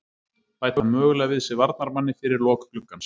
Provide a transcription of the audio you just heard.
Bæta mögulega við sig varnarmanni fyrir lok gluggans.